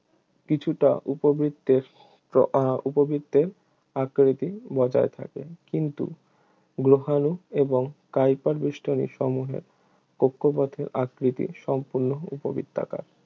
কিছুটা উপবৃত্তের আহ উপবৃত্তের আকৃতি বজায় থাকে কিন্তু গ্রহাণু এবং কাইপার বেষ্টনী বস্তুসমূহের কক্ষপথের আকৃতি সম্পূর্ণ উপবৃত্তাকার